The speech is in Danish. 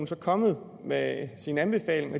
kommet med sin anbefaling og